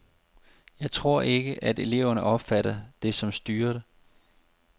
Jeg tror ikke, at eleverne opfatter det som styret.